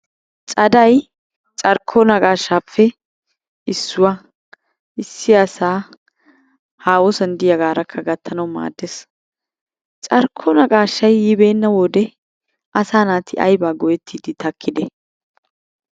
Caday carkko naqaashaappe issuwa issi asaa haahosan diyagaarakka gattanawu maaddes. Carkko naqaashay yibeenna wode asaa naati ayibaa go'ettiiddi takkide?